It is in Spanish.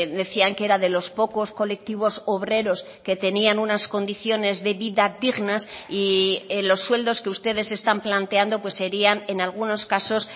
decían que era de los pocos colectivos obreros que tenían unas condiciones de vida dignas y los sueldos que ustedes están planteando pues serían en algunos casos